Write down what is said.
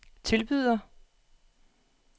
tilbyder